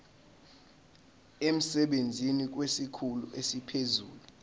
emsebenzini kwesikhulu esiphezulu